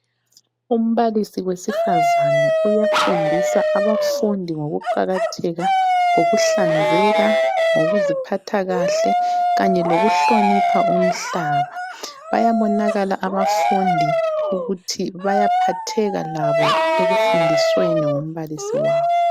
Umbalisi wesifazane uyafundisa abafundi ngokuqakatheka kokuhlanzeka , ngokuziphatha kahle kanye lokuhlonipha umhlaba. Bayabonakala abafundi ukuthi bayaphatheka labo ekufundisweni ngumbalisi wabo.